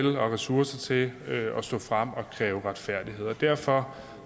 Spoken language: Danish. ressourcer til at stå frem og kræve retfærdighed derfor